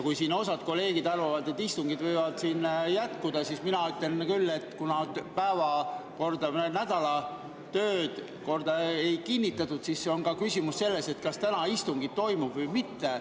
Kui siin osa kolleege arvavad, et istungid võivad jätkuda, siis mina ütlen küll, et kuna päevakorda, nädala töökorda ei kinnitatud, siis on küsimus ka selles, kas täna istung toimub või mitte.